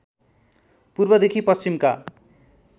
पूर्वदेखि पश्चिमका